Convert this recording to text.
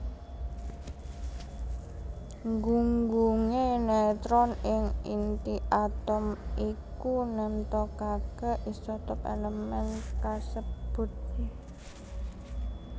Gunggungé netron ing inti atom iku nemtokaké isotop èlemèn kasebut